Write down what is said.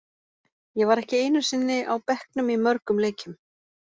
Ég var ekki einu sinni á bekknum í mörgum leikjum.